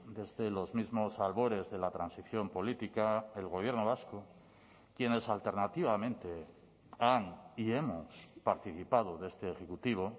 desde los mismos albores de la transición política el gobierno vasco quienes alternativamente han y hemos participado de este ejecutivo